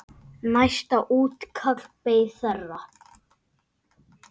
Næsta útkall beið þeirra.